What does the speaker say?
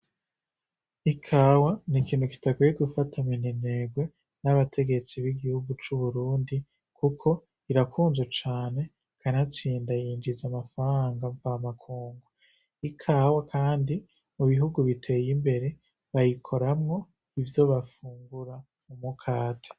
Ikawa ni ikintu kidakwiye gufatwa minenerwe n'abategetsi b'igihugu c'uburundi irakunzwe kuko irakunzwe cane kanatsinda yinjinza amafaranga mvamakungu ikawa kandi mu bihugu biteye imbere bayikoramwo ivyo bafungura mu mukate